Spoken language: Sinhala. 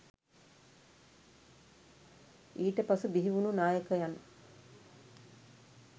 ඊට පසු බිහිවුනු නායකයන්